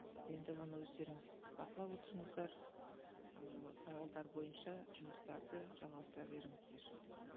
енді оны өздеріңіз бақылап отырыңыздар ол сауалдар бойынша жұмыстарды жалғастыра беріңіздер